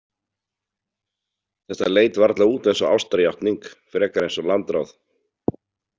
Þetta leit varla út eins og ástarjátning, frekar eins og landráð.